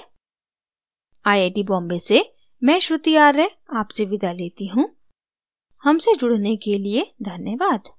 I I T Bombay से मैं श्रुति आर्य आपसे विदा लेती हूँ हमसे जुड़ने के लिए धन्यवाद